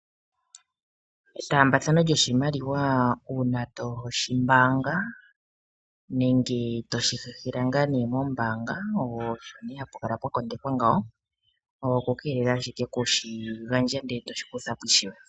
Etambaathano lyoshimaliwa uuna toyi mbaanga nenge toshi hehela ngaa nee mombaanga osho nee hapu kala pwa kondekwa ngawo, oku keelela ashike okushi gandja ndele etoshi kutha po ishewe.